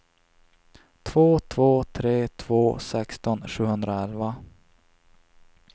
två två tre två sexton sjuhundraelva